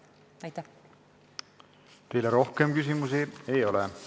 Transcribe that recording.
Teile rohkem küsimusi ei ole.